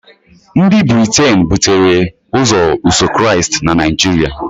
Ndị Briten butere Iso Ụzọ Kraịst na Naijiria